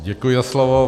Děkuji za slovo.